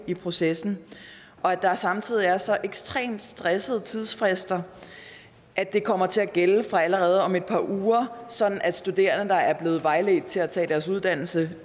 i processen og at der samtidig er så ekstremt stressede tidsfrister at det kommer til at gælde allerede fra om et par uger sådan at studerende der er blevet vejledt til at tage deres uddannelse